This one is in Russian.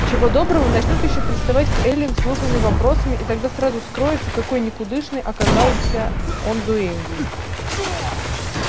чего доброго начнут ещё приставать к эллин с глупыми вопросами и тогда сразу вскроется какой никудышной оказался он дуэньей